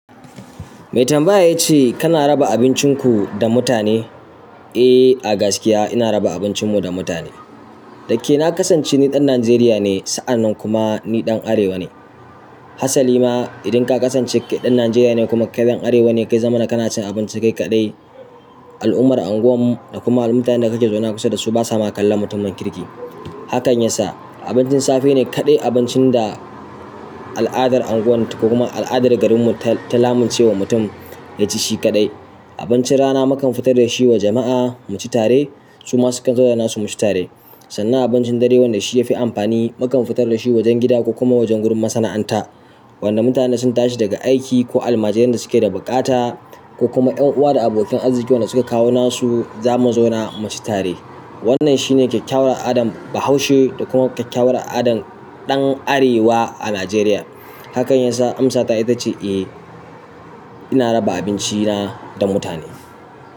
Me tambaya ya ce kana raba abincinku da mutane? Eh, a gaskiya ina raba abincin mu da mutane da ke na kasance ni ɗan Najeriya ne, sa'an nan kuma ni ɗan Arewa ne. Hassali ma idan ka kasance ɗan Najeriya ne kuma kai ɗan Arewa ne, ka zama na kana cin abinci kai kaɗai. Al'ummar unguwar mu da kuma mutanen da kake zaune kusa da su ba sa ma kallon mutumin kirki. Hakan yasa abincin safe ne kaɗai abincin da al'adar unguwarmu da kuma al'adar garinmu ta lamunci wa mutum ya ci shi kaɗai. Abincin rana mukan fitar da shi wa jama'a mu ci tare, su ma sukan zo da nasu mu ci tare. Sannan abincin dare wanda shi ya fi amfani mukan fitar da shi wajen gida ko kuma wajen gurin masana'anta, wanda mutane sun tashi daga aiki ko almajirai da suke da buƙata ko kuma ƴan uwa da abokin arziki wanda suka kawo nasu za mu zauna mu ci tare. Wannan shi ne kyakyawar al'adan Bahaushe da kuma kyakyawar al'adan ɗan Arewa a Najeriya. Hakan yasa amsata ita ce eh, ina raba abinci na da mutane.